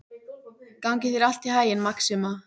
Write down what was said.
Gangi þér allt í haginn, Maxima.